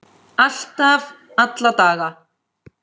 Alltaf, alla daga.